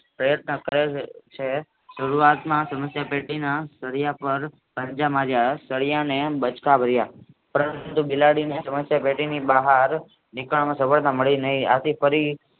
પ્રયત્ન કરે છે સારુવાતમાં સમસ્યા ટેટીના સરિયાં પાર પંજા માર્યા સરિયાને બાચકા ભર્યા પરંતુ બિલાડીને સમસ્યા ટેટીની બહાર નીકળવાની સફળતા મળી નહિ આથી ફરી